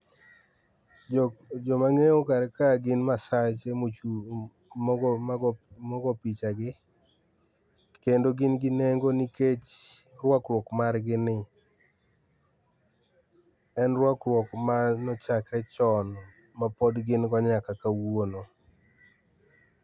Jok, joma angeyo kar kae gi masache mochung, mogo mago mogo pichagi. Kendo gin gi nengo nikech rwakruok margi ni, en rwakruok mane ochakre chon mapod gin godo nyaka kawuono